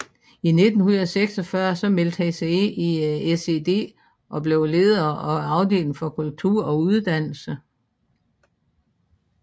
I 1946 meldte han sig ind i SED og blev leder af afdelingen for kultur og uddannelse